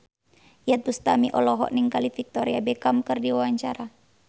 Iyeth Bustami olohok ningali Victoria Beckham keur diwawancara